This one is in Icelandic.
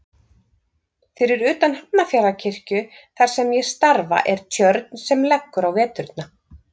Fyrir utan Hafnarfjarðarkirkju þar sem ég starfa er tjörn sem leggur á veturna.